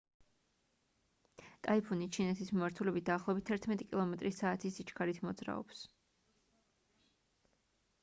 ტაიფუნი ჩინეთის მიმართულებით დაახლოებით 11 კმ/სთ-ის სიჩქარით მოძრაობს